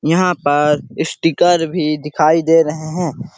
यहाँ पर स्टीकर भी दिखाई दे रहे हैं।